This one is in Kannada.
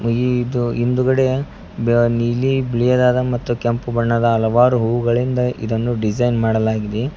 ಇದು ಹಿಂದುಗಡೆ ಬ ನೀಲಿ ಬಿಳಿಯದಾದ ಮತ್ತು ಕೆಂಪು ಬಣ್ಣದ ಹಲವಾರು ಹೂ ಗಳಿಂದ ಇದನ್ನು ಡಿಸೈನ್ ಮಾಡಲಾಗಿದೆ.